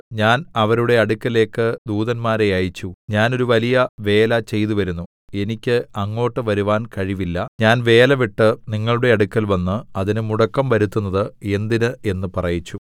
ഞാൻ അവരുടെ അടുക്കലേക്ക് ദൂതന്മാരെ അയച്ചു ഞാൻ ഒരു വലിയ വേല ചെയ്തുവരുന്നു എനിക്ക് അങ്ങോട്ട് വരുവാൻ കഴിവില്ല ഞാൻ വേല വിട്ട് നിങ്ങളുടെ അടുക്കൽവന്ന് അതിന് മുടക്കം വരുത്തുന്നത് എന്തിന് എന്ന് പറയിച്ചു